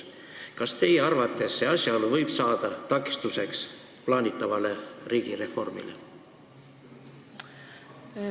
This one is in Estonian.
Kas teie arvates võib see asjaolu saada takistuseks plaanitavale riigireformile?